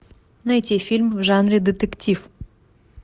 найти фильм в жанре детектив